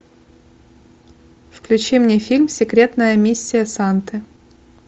включи мне фильм секретная миссия санты